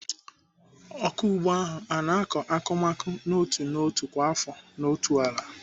Ọkụ ugbo ahụ ọ na-akọ akụmakụ n'otu n'otu kwa afọ n'otu ala?